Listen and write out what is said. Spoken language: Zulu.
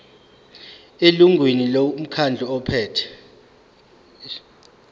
elungwini lomkhandlu ophethe